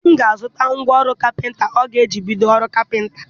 Di m ga-azụta ngwa ọrụ kapịnta ọ ga-eji bido ọrụ kapịnta.